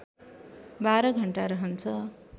१२ घण्टा रहन्छ